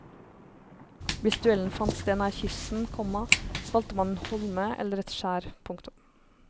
Hvis duellen fant sted nær kysten, komma valgte man en holme eller et skjær. punktum